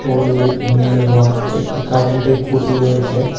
Only নীল রং একটি কারেন্টের খুঁটি রয়েছে।